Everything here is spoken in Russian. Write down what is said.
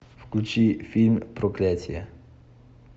включи фильм проклятие